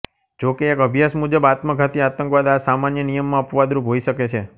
જો કે એક અભ્યાસ મુજબ આત્મઘાતી આતંકવાદ આ સામાન્ય નિયમમાં અપવાદ રૂપ હોઈ શકે છે